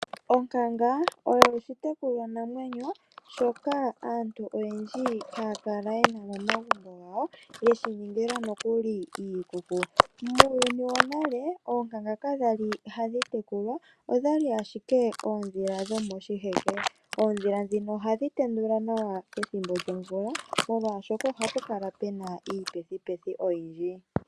Onkanga oyo oshitekulwa namwenyo shoka aantu oyendji haya kala yena momagumbo gawo yeshiningila nokuli iikuku. Muuyuni wonale oonkanga kakwali hadhi tekulwa odhali ashike oondhila dhomo shiheke. Oondhila dhino ohadhi tendula nawa pethimbo lyomvula molwaashoka ohapu kala pena iipathipathi oyindji.